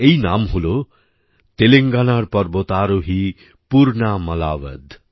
এই নাম হল তেলেঙ্গানার পর্বতারোহী পূর্ণা মালাবধ